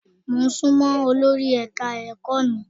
Mo sún mọ́ olori ẹ̀ka-ẹ̀kọ́ mi.